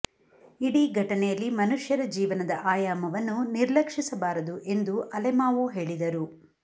ಇಡೀ ಘಟನೆಯಲ್ಲಿ ಮನುಷ್ಯರ ಜೀವನದ ಆಯಾಮವನ್ನು ನಿರ್ಲಕ್ಷಿಸಬಾರದು ಎಂದು ಎಂದು ಅಲೆಮಾವೊ ಹೇಳಿದರು